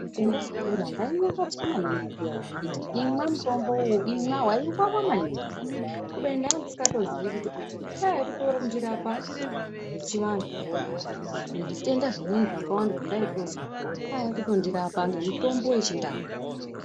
Pandaikura ngainyangadzwa maningi mbuya veinditi imwa mutombo uyu imwa veivava maningi. Kubeni ndandisingatozivi kuti kwaivakutondirapa zvechivantuvo nezvitenda zvimweni zvakawanda zvandaitozwa, kwaiva kutondirapa nemitombo yechindau.